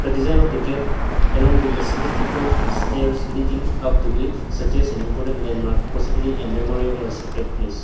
the design of the gate along with the symmetrical stairs leading up to it such as an important landmark possibilly a memorial are secret place.